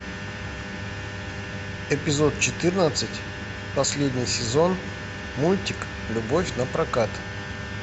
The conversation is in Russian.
эпизод четырнадцать последний сезон мультик любовь напрокат